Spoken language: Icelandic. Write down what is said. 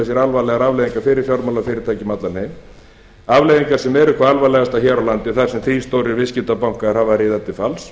sér alvarlegar afleiðingar fyrir fjármálafyrirtæki um allan heim afleiðingarnar sem eru hvað alvarlegastar hér á landi þar sem þrír stórir viðskiptabankar hafa riðað til falls